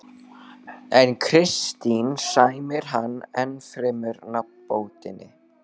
En Kristín sæmir hann ennfremur nafnbótinni